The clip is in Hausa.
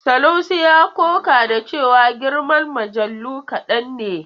Sanusi ya ƙoƙa da cewa girman mujallu kaɗan ne.